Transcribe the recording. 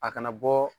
A kana bɔ